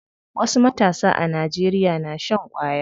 Wasu matasa a Najeriya na shan ƙwaya.